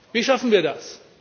Wie schaffen wir das?